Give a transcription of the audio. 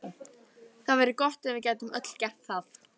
Það væri gott ef við gætum öll gert það.